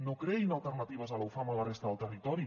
no creïn alternatives a la ufam a la resta del territori